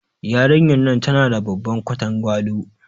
Yarinyar nan tana da babban ƙwatangwalo.